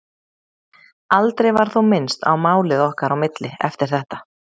Aldrei var þó minnst á málið okkar á milli eftir þetta.